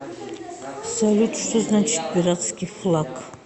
салют что значит пиратский флаг